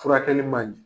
Furakɛli man ɲɛ